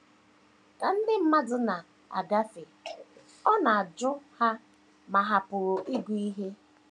Ka ndị mmadụ na - agafe, ọ na - ajụ ha ma ha pụrụ ịgụ ihe.